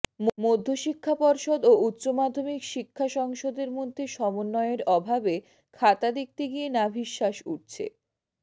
মধ্যশিক্ষা পর্ষদ ও উচ্চ মাধ্যমিক শিক্ষা সংসদের মধ্যে সমন্বয়ের অভাবে খাতা দেখতে গিয়ে নাভিশ্বাস উঠছে